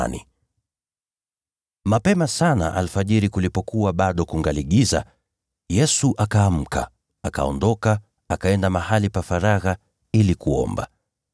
Alfajiri na mapema sana kulipokuwa bado kuna giza, Yesu akaamka, akaondoka, akaenda mahali pa faragha ili kuomba.